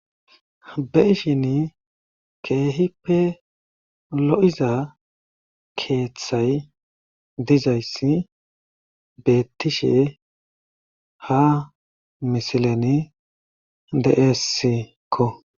Be'ishin keehippe lo'iza keeththay dizayssi beetishe ha misileni de'esikko.